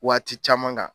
Waati caman kan